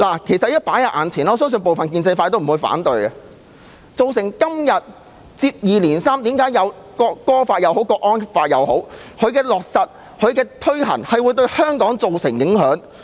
主席，我相信部分建制派也不會反對我的意見，即接二連三在香港落實和推行《條例草案》或國安法，會對香港造成影響。